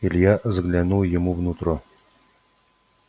илья заглянул ему в нутро